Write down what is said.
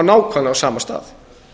nákvæmlega sama stað